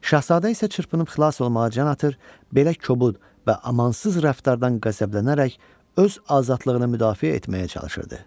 Şahzadə isə çırpınıb xilas olmağa can atır, belə kobud və amansız rəftardan qəzəblənərək öz azadlığını müdafiə etməyə çalışırdı.